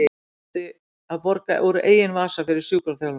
Ég þurfti að borga úr eigin vasa fyrir sjúkraþjálfun.